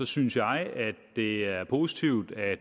synes jeg at det er positivt at